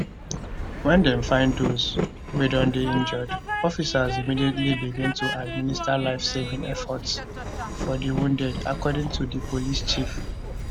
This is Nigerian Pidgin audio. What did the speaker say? wen dem find dose wey don dey injured officers immediately begin to administer lifesaving efforts for di wounded according to di police chief